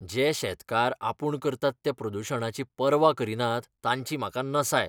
जे शेतकार आपूण करतात त्या प्रदुशणाची पर्वा करिनात तांची म्हाका नसाय.